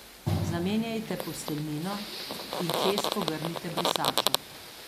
Zamenjajte posteljnino in čez pogrnite brisačo.